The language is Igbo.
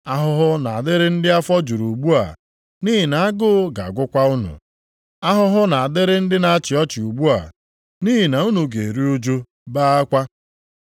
Ahụhụ na-adịrị ndị afọ juru ugbu a, nʼihi na agụ ga-agụkwa unu. Ahụhụ na-adịrị ndị na-achị ọchị ugbu a, nʼihi na unu ga-eru ụjụ, bee akwa.